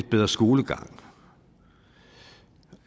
bedre skolegang